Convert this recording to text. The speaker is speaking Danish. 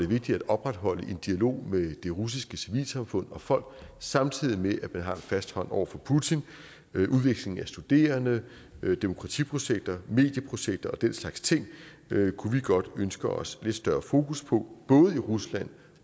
vigtigt at opretholde en dialog med det russiske civilsamfund og folk samtidig med at man har en fast hånd over for putin udveksling af studerende demokratiprojekter medieprojekter og den slags ting kunne vi godt ønske os lidt større fokus på både i rusland